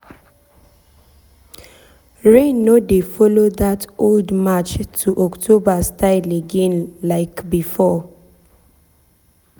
rain no dey follow that old march um to october style again like um before.